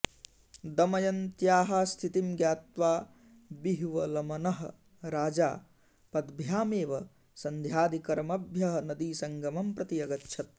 दमयन्त्याः स्थितिं ज्ञात्वा विह्वलमनः राजा पद्भ्यामेव सन्ध्यादिकर्मभ्यः नदीसङ्गमं प्रति अगच्छत्